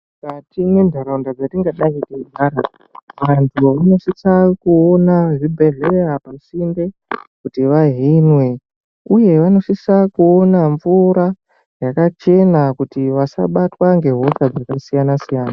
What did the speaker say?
Mukati mwentaraunda dzatingadai teigara antu vanosisa kuona zvibhedhleya pasinde kuti vahinwe. Uye vanosisa kuona mvura yakachena kuti vasabatwa ngehosha dzakasiyana-siyana.